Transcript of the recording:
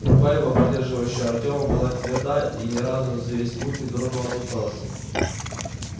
рука его поддерживающая артема была тверда и ни разу за весь путь не дрогнула от усталости